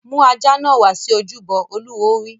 Mú ajá náà wá sí ojúbọ! Olúwo wí.